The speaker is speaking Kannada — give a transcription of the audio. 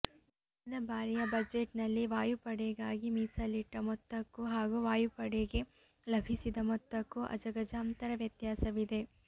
ಕಳೆದ ಬಾರಿಯ ಬಜೆಟ್ನಲ್ಲಿ ವಾಯುಪಡೆಗಾಗಿ ಮೀಸಲಿಟ್ಟ ಮೊತ್ತಕ್ಕೂ ಹಾಗೂ ವಾಯುಪಡೆಗೆ ಲಭಿಸಿದ ಮೊತ್ತಕ್ಕೂ ಅಜಗಜಾಂತರ ವ್ಯತ್ಯಾಸವಿದೆ